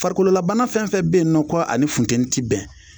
Farikololabana fɛn o fɛn bɛ yen nɔ ko a ni funteni tɛ bɛn